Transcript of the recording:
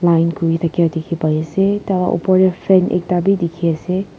line kuri thakia dikhi pai ase tah lah upar teh frame ekta bhi dikhi ase.